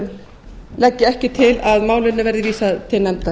legg ég ekki til að málinu verði vísað til nefndar